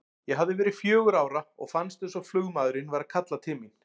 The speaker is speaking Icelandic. Ég hafði verið fjögurra ára og fannst eins og flugmaðurinn væri að kalla til mín.